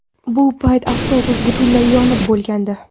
Bu payt avtobus butunlay yonib bo‘lgandi.